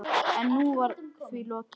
En nú var því lokið.